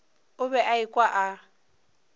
o be a ekwa a